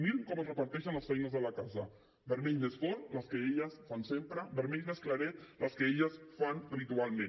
mirin com es reparteixen les feines de la casa vermell més fort les que elles fan sempre vermell més claret les que elles fan habitualment